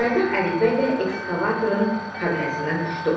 Caydaq Ədilbəy də ekskavatorun kabinasından düşdü.